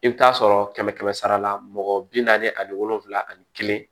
I bɛ taa sɔrɔ kɛmɛ kɛmɛ sara la mɔgɔ bi naani ani wolonvila ani kelen